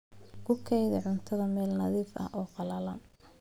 Ku kaydi cuntada meel nadiif ah oo qallalan.